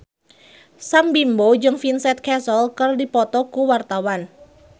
Sam Bimbo jeung Vincent Cassel keur dipoto ku wartawan